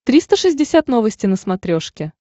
триста шестьдесят новости на смотрешке